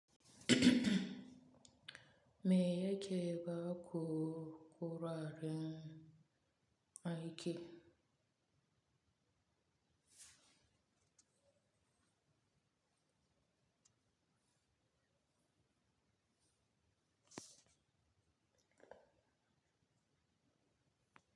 Me yake baƙu kuraren aiki?